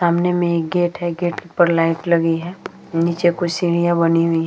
सामने में एक गेट है । गेट के ऊपर लाइट लगी है । नीचे कुछ सीढ़ियां बनी हुई --